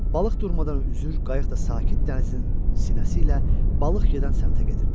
Balıq durmadan üzür, qayıq da sakit dənizin sinəsi ilə balıq gedən səmtə gedirdi.